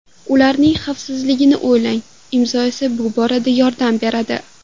Ularning xavfsizligini o‘ylang, Imzo esa bu borada yordam beradi!